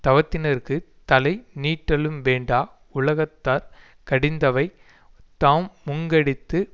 தவத்தினர்க்குத் தலை நீட்டலும் வேண்டா உலகத்தார் கடிந்தவை தா முங்கடித்து